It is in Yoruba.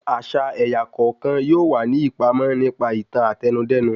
Àṣà ẹ̀yà kọ̀ọ̀kan yóò wà ní ìpàmọ nípa ìtàn Àtẹnudẹ́nu